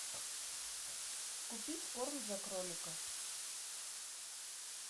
купить корм для кролика